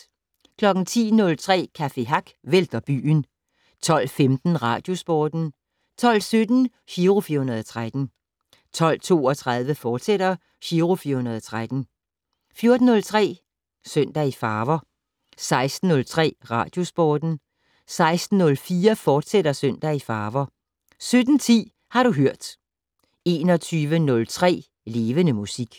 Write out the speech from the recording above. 10:03: Café Hack vælter byen 12:15: Radiosporten 12:17: Giro 413 12:32: Giro 413, fortsat 14:03: Søndag i farver 16:03: Radiosporten 16:04: Søndag i farver, fortsat 17:10: Har du hørt 21:03: Levende Musik